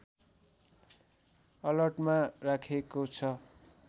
अलर्टमा राखेको छ